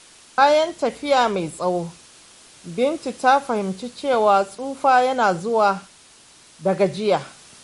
Bayan tafiya mai tsawo, Bintu ta fahimci cewa tsufa yana zuwa da gajiya.